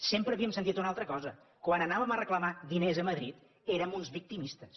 sempre havíem sentit una altra cosa quan anàvem a reclamar diners a madrid érem uns victimistes